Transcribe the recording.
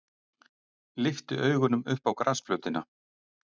Lyfti augunum upp á grasflötina.